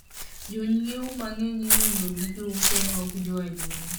Jonyiewo mang’eny iwuondo gi jouso ma ok joadiera..